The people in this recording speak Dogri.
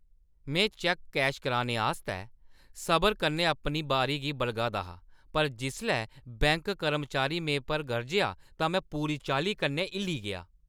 में चैक्क कैश कराने आस्तै सबरै कन्नै अपनी बारी गी बलगा दा हा पर जिसलै बैंक कर्मचारी मेरे पर गरजेआ तां में पूरी चाल्ली कन्नै हिल्ली गेआ।